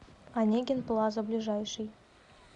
онегин плаза ближайший